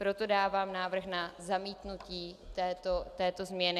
Proto dávám návrh na zamítnutí této změny.